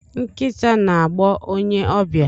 Nkita na-agbọ onye ọbịa.